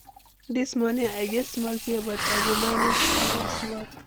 Dis morning, I get small fear, but I go manage smile small.